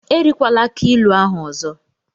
Erikwala akii ilu ahụ ọzọ!